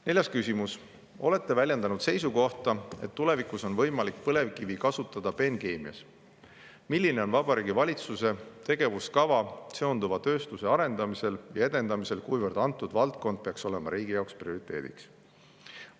Neljas küsimus: "Olete väljendanud seisukohta, et tulevikus on võimalik põlevkivi kasutada peenkeemias – milline on Vabariigi Valitsuse tegevuskava seonduva tööstuse arendamisel ja edendamisel kuivõrd antud valdkond peaks olema riigi jaoks prioriteediks?